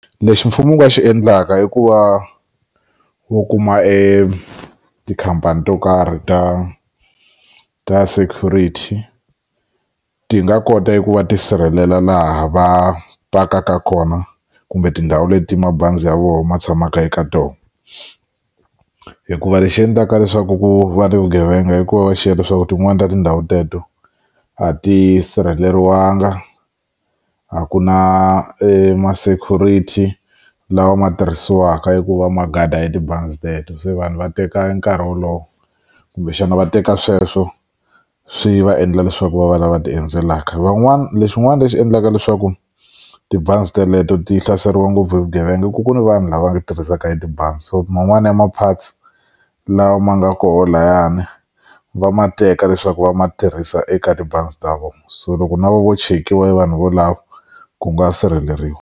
Lexi mfumo wu nga xi endlaka i ku va wu kuma etikhampani to karhi ta ta security ti nga kota ku va tisirhelela laha va pakaka kona kumbe tindhawu leti mabazi ya vo ma tshamaka eka tona hikuva lexi endlaka leswaku ku va ni vugevenga i ku va va xiya leswaku tin'wani ta tindhawu teto a ti sirheleriwanga a ku na emasecurity lawa ma tirhisiwaka eku va magada ya tibazi teto se vanhu va teka nkarhi wolowo kumbexana va teka sweswo swi va endla leswaku va va lava ti endzelaka van'wani lexin'wana lexi endlaka leswaku tibazi teleto ti hlaseriwa ngopfu hi vugevenga ku ku ni vanhu lava nga tirhisaka hi tibazi so man'wani ya maphatsi lawa ma nga koho layani va ma teka leswaku va ma tirhisa eka tibazi ta vona so loko no chekiwa hi vanhu valavo ku nga sirheleriwa.